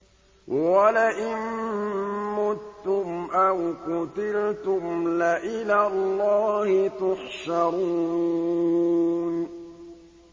وَلَئِن مُّتُّمْ أَوْ قُتِلْتُمْ لَإِلَى اللَّهِ تُحْشَرُونَ